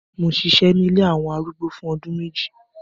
Mo ṣiṣẹ ni ilé awọn arúgbó fun ọdun meji